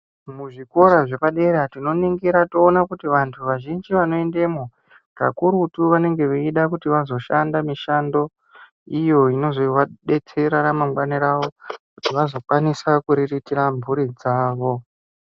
Muzvikora zvepadera tinoningira toona kuti vantu vazhinji vanoendamo kakurutu vanenrv veida kuti vanoshanda mishando iyo inozovadetsera vazokwanisa kuriritira mhuri dzawo.